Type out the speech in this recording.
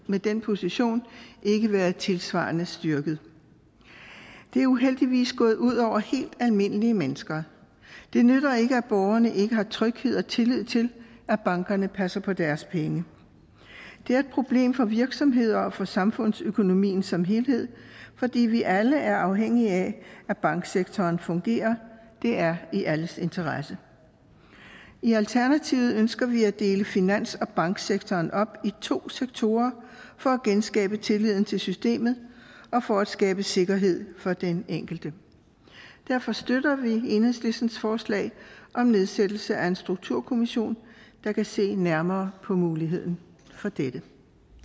med den position ikke været tilsvarende styrket det er uheldigvis gået ud over helt almindelige mennesker det nytter ikke at borgerne ikke har tryghed og tillid til at bankerne passer på deres penge det er et problem for virksomheder og for samfundsøkonomien som helhed fordi vi alle er afhængige af at banksektoren fungerer det er i alles interesse i alternativet ønsker vi at dele finans og banksektoren op i to sektorer for at genskabe tilliden til systemet og for at skabe sikkerhed for den enkelte derfor støtter vi enhedslistens forslag om nedsættelse af en strukturkommission der kan se nærmere på muligheden for dette